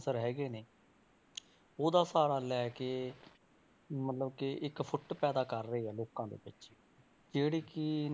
ਹੈਗੇ ਨੇ ਉਹਦਾ ਸਹਾਰਾ ਲੈ ਕੇ ਮਤਲਬ ਕਿ ਇੱਕ ਫੁੱਟ ਪੈਦਾ ਕਰ ਰਹੇ ਆ ਲੋਕਾਂ ਦੇ ਵਿੱਚ ਜਿਹੜੀ ਕਿ